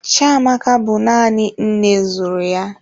Chiamaka bụ nanị nne zụrụ ya.